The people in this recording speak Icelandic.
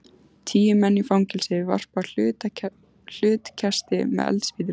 Tíu menn í fangelsi varpa hlutkesti með eldspýtum.